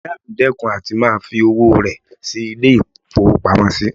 Ìyá mi dẹ́kun àti máa fi owó rẹ̀ sí ilé-ìfowópamọ́sí